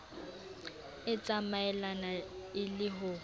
e tsamaelane e le ho